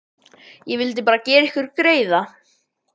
Ég vildi bara gera ykkur greiða.